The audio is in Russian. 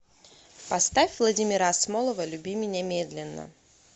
поставь владимира асмолова люби меня медленно